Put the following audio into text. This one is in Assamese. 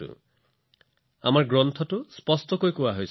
এই বিষয়ে আমাৰ শাস্ত্ৰত স্পষ্টকৈ কোৱা হৈছে